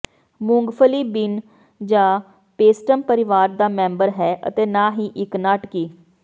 ਮੂੰਗਫਲੀ ਬੀਨ ਜਾਂ ਪੇਸਟਮ ਪਰਿਵਾਰ ਦਾ ਮੈਂਬਰ ਹੈ ਅਤੇ ਨਾ ਹੀ ਇੱਕ ਨਾਟਕੀ